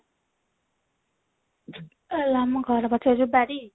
ଆଲୋ ଆମ ଘର ପାଖରେ ଯଉ ବାରୀ